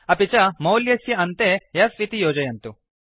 अपि च मौल्यस्य अन्ते f इति योजयन्तु